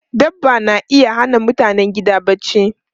Dabba na iya hana mutanen gida barci.